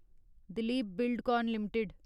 Dilip Buildcon limited